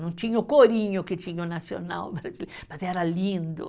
Não tinha o corinho que tinha o nacional, mas era lindo.